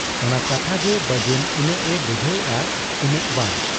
ᱚᱱᱟ ᱠᱟᱛᱷᱟ ᱜᱮ ᱵᱟᱹᱡᱩᱱ ᱤᱱᱟᱹᱜ ᱮ ᱵᱩᱡᱷᱟᱹᱣ ᱮᱜ ᱟ ᱤᱱᱟᱹᱜ ᱵᱟᱝ ᱾